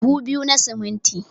Buhu biyu na siminti